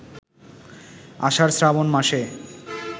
আষাঢ়-শ্রাবণ মাসে